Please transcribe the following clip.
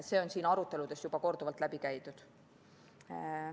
See on siin aruteludes juba korduvalt läbi käinud.